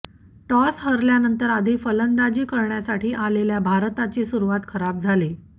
toss हारल्यानंतर आधी फलंदाजी करण्यासाठी आलेल्या भारताचा सुरुवात खराब झाली